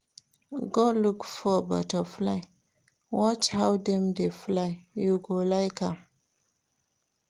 Go look for butterfly watch how dem dey fly, you go like am.